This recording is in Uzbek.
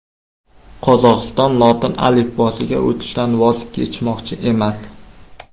Qozog‘iston lotin alifbosiga o‘tishdan voz kechmoqchi emas.